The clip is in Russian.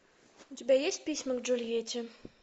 у тебя есть письма к джульетте